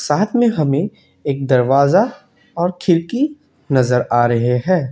बाद में हमें एक दरवाजा और खिड़की नजर आ रहे हैं।